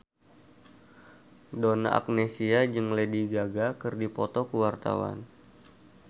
Donna Agnesia jeung Lady Gaga keur dipoto ku wartawan